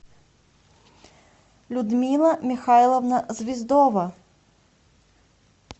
людмила михайловна звездова